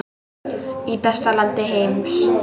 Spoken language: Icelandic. Í besta landi heims.